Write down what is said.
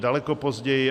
Daleko později.